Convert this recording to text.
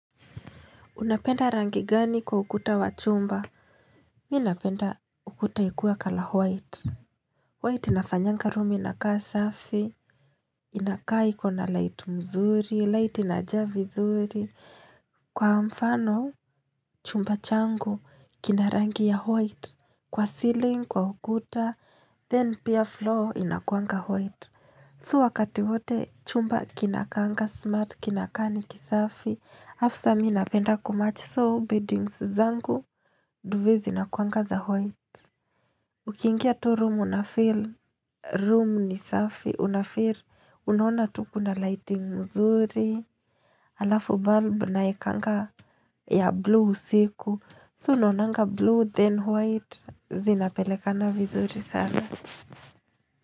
Unapenda rangi gani kwa ukuta wa chumba? Mimi napenda ukuta ikiwa kala white. White inafanyanga room inakaa safi. Inakaa iko na light mzuri, light inajaa vizuri. Kwa mfano, chumba changu, kina rangi ya white. Kwa ceiling, kwa ukuta, then pia floor inakuanga white. So wakati hote, chumba kinakaanga smart, kinakaa ni kisafi. Alafu sasa mimi napenda kumachi so beddings zangu Duve zinakuanga za white Ukiingia tu room unafeel room ni safi Unafeel Unaona tu kuna lighting mzuri Alafu bulb naekanga ya blue usiku So unaonanga blue then white Zinapelekana vizuri sana.